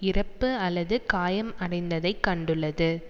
இறப்பு அல்லது காயம் அடைந்ததைக் கண்டுள்ளது